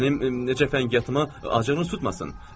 Mənim necə fəngiyyatıma acığınız tutmasın.